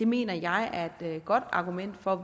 mener jeg er et godt argument for